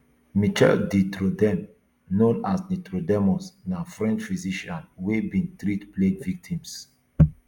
michel de notredame known as nostradamus na french physician wey bin treat plague victims